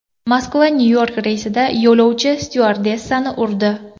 Moskva Nyu-York reysida yo‘lovchi styuardessani urdi.